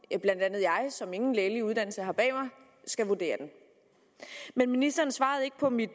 blandt andet jeg som ingen lægelig uddannelse har bag mig skal vurdere den men ministeren svarede ikke på mit